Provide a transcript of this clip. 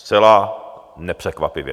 Zcela nepřekvapivě.